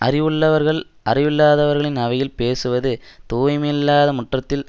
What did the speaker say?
அறிவுள்ளவர்கள் அறிவில்லாதவர்களின் அவையில் பேசுவது தூய்மையில்லாத முற்றத்தில்